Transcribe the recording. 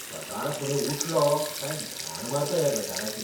सकाळफुडें उठलों काय घाण मारता ह्या गटाराची.